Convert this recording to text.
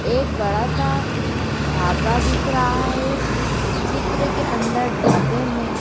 एक बड़ा सा ढाबा दिख रहा है चित्र के अंदर ढाबे में--